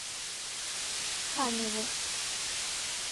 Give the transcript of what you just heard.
каневу